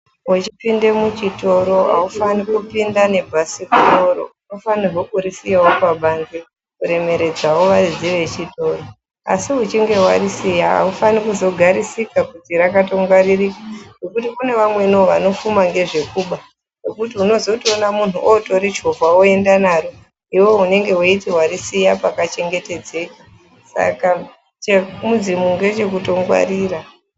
Wechipinde muchitoro haufani kupinda nebhasikoro. Unofanirwa kurisiyawo pabanze kuremeredzawo varidzi vechitoro, asi uchinge warisiya haufani kuzogarisika kuti rakatongwaririka, ngekuti kune vamweniwo vanofuma ngezvekuba, ngekuti unozotoona munhu otorichovha oenda naro. Iwewe unenge weiti warisiya pakachengetedzeka, saka chemudzimu ngechekutongwarira.